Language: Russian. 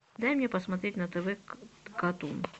дай мне посмотреть на тв катун